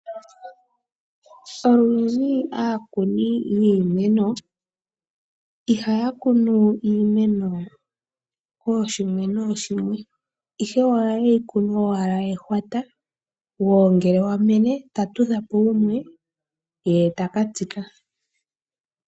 Olundji aakuni yiimeno ihaya kunu iimeno yawo kooshimwe nooshimwe ihe oha ye yi kunu owala ehwata, wo ngele wa mene ta tudha po wumwe, ye taka tsika.